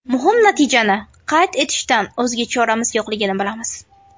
Muhim natijani qayd etishdan o‘zga choramiz yo‘qligini bilamiz.